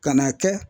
Kan'a kɛ